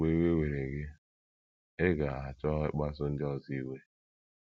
Ozugbo iwe were gị, ị ga - achọ ịkpasu ndị ọzọ iwe.